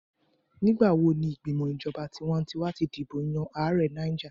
Nigbawo ni igbimọ ijọba tiwantiwa ti dibo yan Aare Niger?